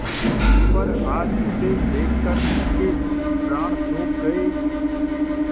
पर आज उसे देखकर उनके प्राण सूख गये